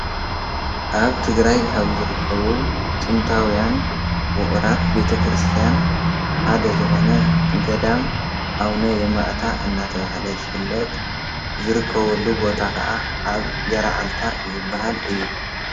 ኣብ ትግራይ ካብ ዝርከቡ ጥንታውያን ውቑራት ቤተክርስቲያን ሓደ ዝኾነ ገዳም ኣቡነ የማእታ እናተባሃለ ዝፍለጥ ዝርከበሉ ቦታ ኻዓ ኣብ ገራዓልታ ዝባሃል እዩ።